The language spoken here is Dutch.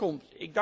komt.